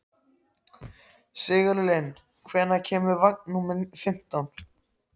Sigurlinn, hvenær kemur vagn númer fimmtán?